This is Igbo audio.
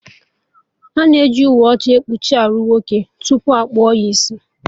Ana eji uwe ọcha kpuchie arụ nwoke tupu akpụọ ya isi